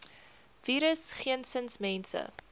virus geensins mense